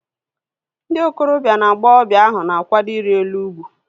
Ndị okorobia na agbọghọbịa ahu na-akwado iri elu ugwu